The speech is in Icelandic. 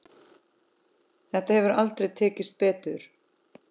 Þetta hefur aldrei tekist betur.